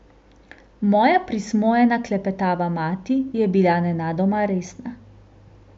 Moja prismojena klepetava mati je bila nenadoma resna.